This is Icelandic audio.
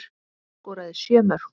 Viggó skoraði sjö mörk.